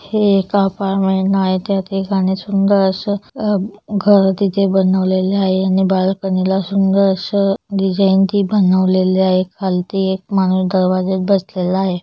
हे एक अपार्टमेंट आहे त्यात एकाने सुंदर अस आ घर तिथे बनवलेल आहे आणि बाळकोणीला सुंदर अस डिझाईन ते बनवले आहे खालती ते एक माणूस दरवाज्यात बसले आहे.